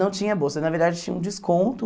Não tinha bolsa, na verdade tinha um desconto.